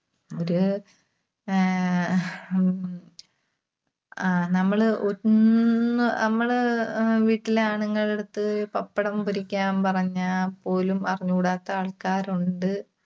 ഒരു, ആഹ് ഹും അഹ് നമ്മള് ഒ~ന്ന്, നമ്മള് അഹ് വീട്ടിലെ ആണുങ്ങളുടെയടുത്ത് പപ്പടം പൊരിക്കാൻ പറഞ്ഞാപോലും അറിഞ്ഞുകൂടാത്ത ആൾക്കാരൊണ്ട്.